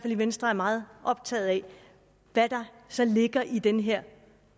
i venstre er meget optaget af hvad der så ligger i den her